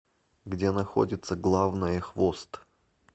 где находится главное хвост